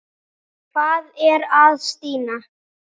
Hvað er að Stína?